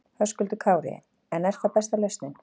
Höskuldur Kári: En er það besta lausnin?